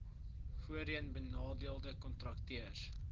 voorheen benadeelde kontrakteurs